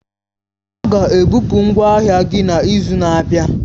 A ga-ebupu ngwa ahịa gị n'izu na-abịa.